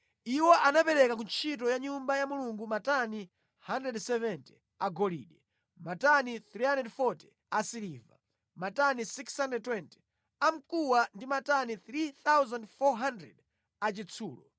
Iwo anapereka ku ntchito ya Nyumba ya Mulungu matani 170 a golide, matani 340 a siliva, matani 620 a mkuwa ndi matani 3,400 a chitsulo.